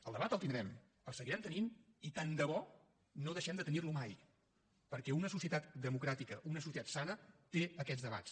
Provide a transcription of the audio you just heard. el debat el tindrem el seguirem tenint i tant de bo que no deixem de tenir lo mai perquè una societat democràtica una societat sana té aquests debats